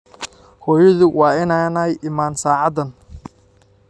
Hooyadu waa inaanay iman saacadan.